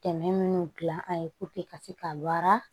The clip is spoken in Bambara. Tɛmɛ minnu dilan an ye ka se ka wara